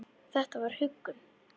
Þetta var huggun.